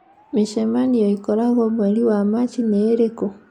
Mĩcemanio ĩkoragwo mweri wa Machi ni ĩrĩkũ